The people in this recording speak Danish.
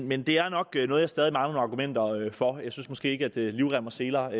men det er nok noget jeg stadig argumenter for jeg synes måske ikke at livrem og seler